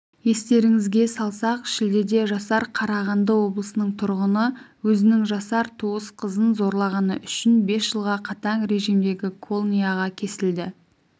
естеріңізге салсақ шілдеде жасар қарағанды облысының тұрғыны өзінің жасар туыс қызын зорлағаны үшін бес жылға қатаң режимдегі колнияға кесілді